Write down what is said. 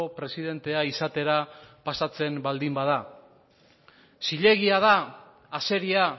presidentea izatera pasatzen baldin bada zilegia da azeria